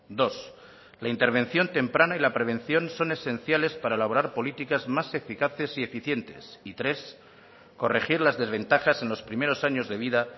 dos la intervención temprana y la prevención son esenciales para elaborar políticas más eficaces y eficientes y tres corregir las desventajas en los primeros años de vida